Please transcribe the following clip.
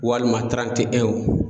Walima tirante ɛnw